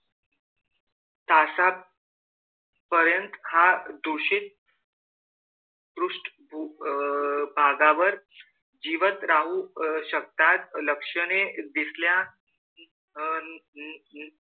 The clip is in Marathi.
तासां पर्यंत हा दूषित पृष्ठ अह भागावर जिवंत राहू शकतात. लक्षणे दिसल्या अह